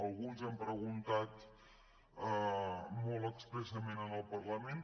alguns han preguntat molt expressament en el parla·ment